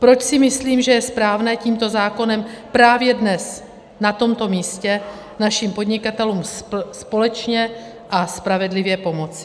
Proč si myslím, že je správné tímto zákonem právě dnes, na tomto místě, našim podnikatelům společně a spravedlivě pomoci.